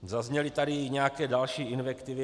Zazněly tady i nějaké další invektivy.